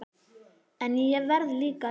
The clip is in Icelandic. En ég verð líka að lifa.